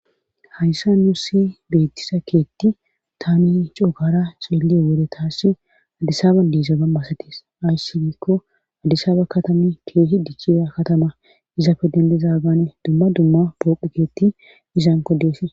Hayssa nuu si beettisa keetti taami cookara seeliyo wore taassi addisaba diisa bammasatis ayssi giikko addisaba katama keehi dichira katama iza fe dendizaagaane dumma dumma pooqiketti izan kodees